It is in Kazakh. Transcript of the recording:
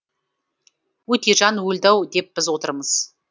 өтежан өлді ау деп біз отырмыз